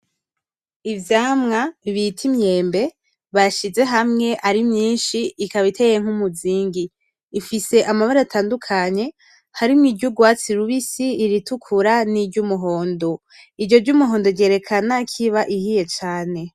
Ivyamwa bita imyembe bashize hamwe ari myinshi ikaba iteye nk'umuzingi, ifise amabara atandukanye harimwo iry'urwatsi rubisi, iritukura niry'umuhondo, iryo ry'umuhondo ryerekana kiba ihiye cane.